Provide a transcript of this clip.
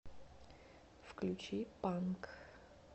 включи панк